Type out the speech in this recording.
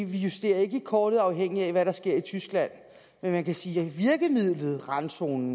vi justerer ikke kortet afhængigt af hvad der sker i tyskland men man kan sige at virkemidlet randzone